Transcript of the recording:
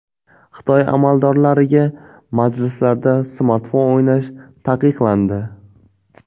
Xitoy amaldorlariga majlislarda smartfon o‘ynash taqiqlandi.